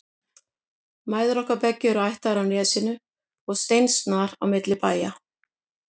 Mæður okkar beggja eru ættaðar af Nesinu og steinsnar á milli bæja.